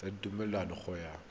tse di tlhomilweng go ya